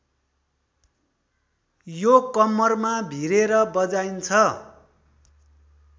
यो कम्मरमा भिरेर बजाइन्छ